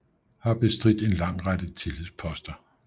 Har bestridt en lang række tillidsposter